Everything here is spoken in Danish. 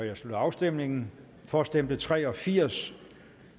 jeg slutter afstemningen for stemte tre og firs